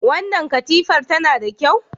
Wannan katifar tana da kyau?